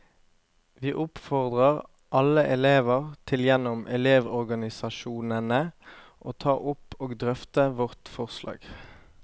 Vi oppfordrer alle elever til gjennom elevorganisasjonene å ta opp og drøfte vårt forslag.